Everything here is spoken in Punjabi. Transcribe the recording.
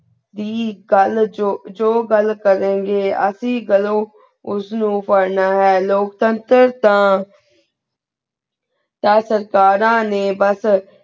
ਦੀ ਗਲ ਜੋ ਜੋ ਜੋ ਗਲ ਕਰੀ ਗੇ ਅਸੀਂ ਕਦੋ ਉਸ ਨੂ ਪਢ਼ਨਾ ਹੈ ਲੋਗ ਚੰਟਰ ਤਾ ਤਾ ਕ੍ਯਾ ਸਰਦਾਰ ਨੇ ਬਾਸ